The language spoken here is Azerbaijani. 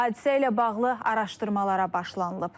Hadisə ilə bağlı araşdırmalara başlanılıb.